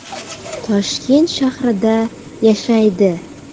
Toshkent shahrida yashaydi.